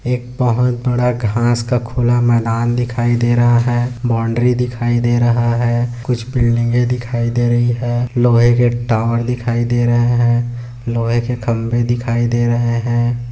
एक बहुत बड़ा घास का खुला मैदान दिखाई दे रहा है बाउंड्री दिखाई दे रहा है कुछ बिल्डिंगे दिखाई दे रही है लोहे के टावर दिखाई दे रहे है लोहे के खंबे दिखाई दे रहे है।